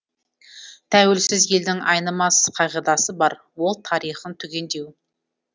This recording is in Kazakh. тәуелсіз елдің айнымас қағидасы бар ол тарихын түгендеу